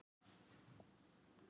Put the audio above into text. Þín nafna, Svala.